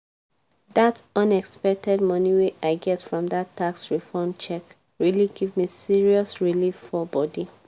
dat unexpected moni wey i get from dat tax refund check really give me serious relief for bodi